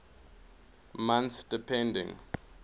months depending